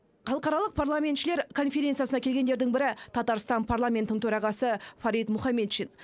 халықаралық парламентшілер конференциясына келгендердің бірі татарстан парламентінің төрағасы фарид мухаметшин